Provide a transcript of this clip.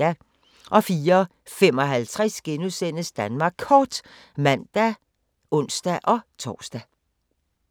04:55: Danmark Kort *(man og ons-tor)